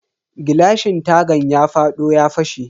Gilashin tagan ya fado ya fashe.